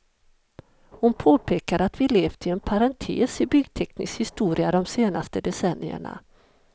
Hon påpekade att vi levt i en parentes i byggteknisk historia de senaste decennierna.